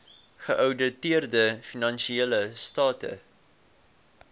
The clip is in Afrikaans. geouditeerde finansiële state